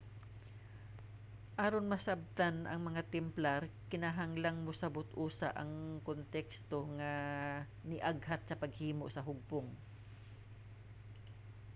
aron masabtan ang mga templar kinahanglan mosabot usa ang konteksto nga niaghat sa paghimo sa hugpong